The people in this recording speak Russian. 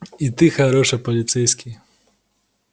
и ты хороший полицейский